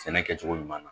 Sɛnɛ kɛcogo ɲuman na